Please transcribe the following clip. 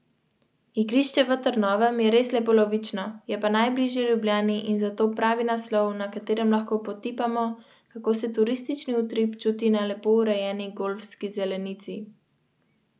Posebej v vzhodnih delih Nemčije je bilo to zelo izrazito, ampak sicer lahko podobne tendence opazujemo tudi v drugih evropskih državah.